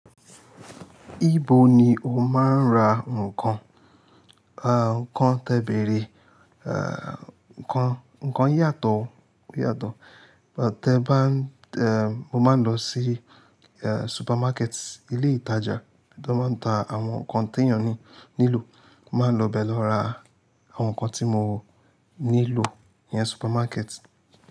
Ibo ni o máa ń ra nǹkan? A, nǹkan tebere, a, nǹkan, nǹkan yàtọ̀, yàtọ̀. Te ba, e, mo máa ń lọ sí, e, supermarket, ilé ìtajà tó máa ń ta àwọn nǹkan tẹ̀yàn ni, nílò. Mo máa ń lọ be lọ ra àwọn nǹkan tí mo nílò ní ìyẹn supermarket.